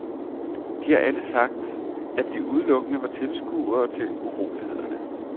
De har alle sagt, at de udelukkende var tilskuere til urolighederne.